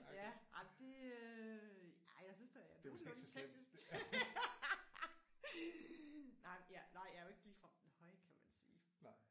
Ja ej det øh ej jeg synes da jeg er nogenlunde teknisk nej ja jeg er jo ikke ligefrem den høje kan man sige